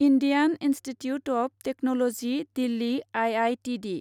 Indian institute of technology Delhi I I T D